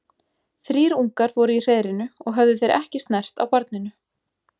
Þrír ungar voru í hreiðrinu og höfðu þeir ekki snert á barninu.